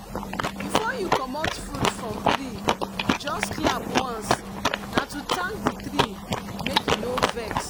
before you commot fruit from treejust clap once na to thank the tree make e no vex.